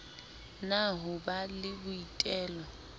na ho ba le boitelo